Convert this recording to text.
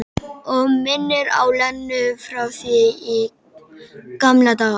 Og minnir á Lenu frá því í gamla daga.